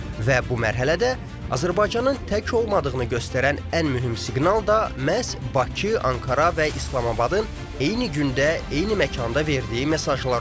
Və bu mərhələdə Azərbaycanın tək olmadığını göstərən ən mühüm siqnal da məhz Bakı, Ankara və İslamabadın eyni gündə, eyni məkanda verdiyi mesajlar oldu.